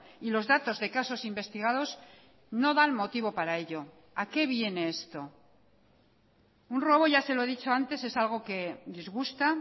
y los datos de casos investigados no dan motivo para ello a qué viene esto un robo ya se lo he dicho antes es algo que disgusta